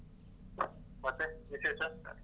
ಮತ್ತೆ ವಿಶೇಷ?